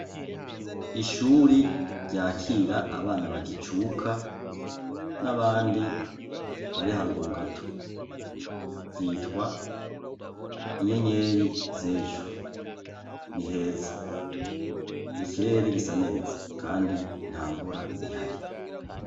Ishuri ryakira abana bagicuka ,n’abandi bari haruguru gato . Ryitwa inyenyeri z’ejo. Ni heza. Ikirere gisa neza kandi ntamvura ihari.